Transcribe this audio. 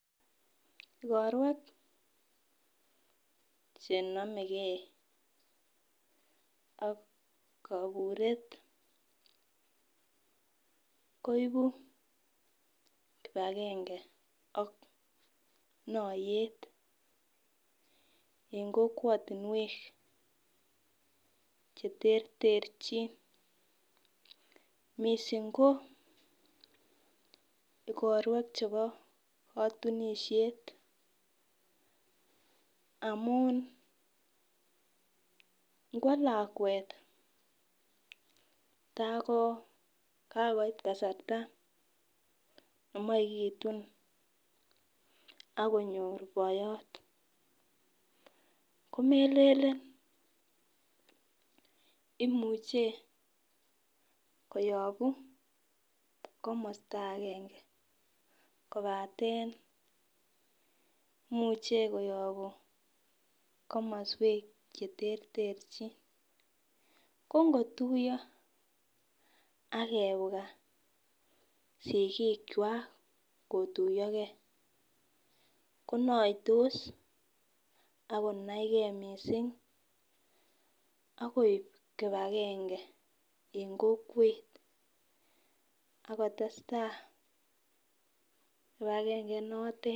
Igorweek chenomegei ak koburet koibu kipagenge ak noyet en kokwotinwek cheterterchin missing' ko ikorwek chebo kotunisiet. Amun inkwo lakwet tako kakoit kasarta nemoche kitun agonyor boiyot komelelen imuche koyobu komosto agange kopaten imuche koyobu komoswek cheterterchin. Kongotuyo ak kebwa sikikwak kotuyogei konoitos ak konaigei missing' ak koib kipagenge en kokwet ak kotestai kipagenge inotet.